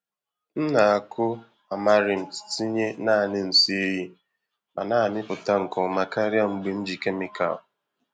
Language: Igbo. M na-akụ amaranth tinye naanị nsị ehi ma na-amịpụta nke ọma karịa mgbe m ji kemịkal.